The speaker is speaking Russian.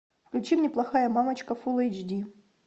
включи мне плохая мамочка фул эйч ди